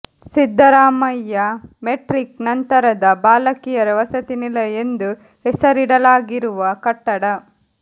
Siddaramaiah matric ನಂತರದ ಬಾಲಕಿಯರ ವಸತಿ ನಿಲಯ ಎಂದು ಹೆಸರಿಡಲಾಗಿರುವ ಕಟ್ಟಡ